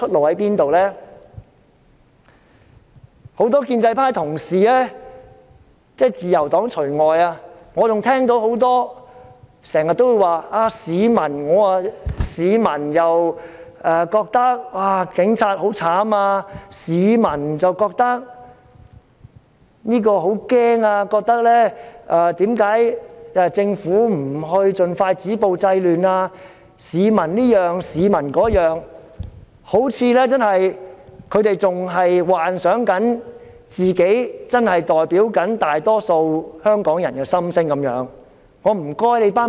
我聽到建制派的同事說了很多說話，例如市民覺得警察很可憐、市民覺得很害怕、市民覺得政府應盡快止暴制亂......他們好像仍在幻想自己真的代表大多數香港人的心聲般。